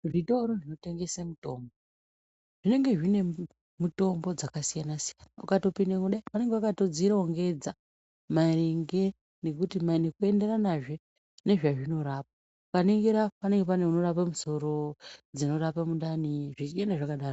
Zvitoro zvinotengese mitombo zvinenge zvine mitombo dzakasiyana-siyana ukatopindemwo kudai vanenge vakadzirongedza maringe nekuenderanazve nezvezvinorapa. Ukaningira panenge pane dzinorape musoro, dzinorape mundani zvichienda zvakadaro.